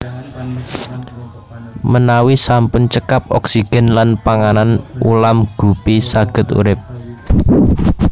Menawi sampun cekap oksigen lan panganan ulam Guppy saged urip